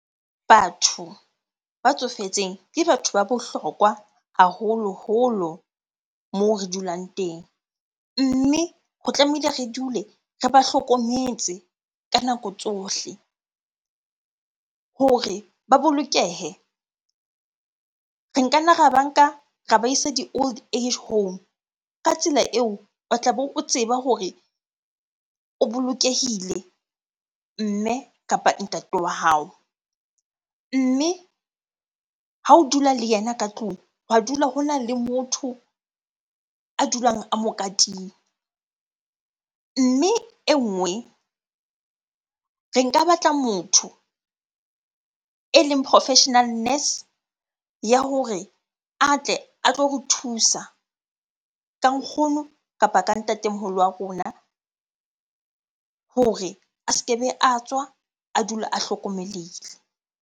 Batho ba tsofetseng ke batho ba bohlokwa haholoholo moo re dulang teng. Mme ho tlamehile re dule re ba hlokometse ka nako tsohle. Hore ba bolokehe, re nka nna ra ba nka ra ba isa di-old age home. Ka tsela eo, o tla be o tseba hore o bolokehile mme kapa ntate wa hao mme ha o dula le yena ka tlung, hwa dula hona le motho a dulang a mo katile. Mme e nngwe, re nka batla motho eleng professional nurse ya hore a tle a tlo re thusa ka nkgono kapa ka ntatemoholo wa rona hore a se kebe a tswa, a dula a hlokomelehile.